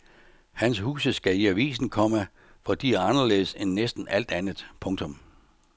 Hans huse skal i avisen, komma for de er anderledes end næsten alt andet. punktum